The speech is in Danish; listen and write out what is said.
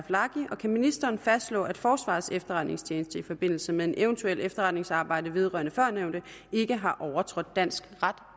kan ministeren fastslå at forsvarets efterretningstjeneste i forbindelse med eventuelt efterretningsarbejde vedrørende førnævnte ikke har overtrådt dansk ret